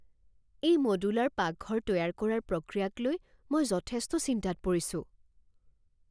এটা মডুলাৰ পাকঘৰ তৈয়াৰ কৰাৰ প্ৰক্ৰিয়াক লৈ মই যথেষ্ট চিন্তাত পৰিছোঁ।